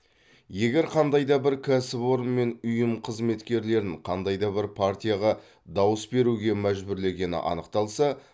егер қандай да бір кәсіпорын мен ұйым қызметкерлерін қандай да бір партияға дауыс беруге мәжбүрлегені анықталса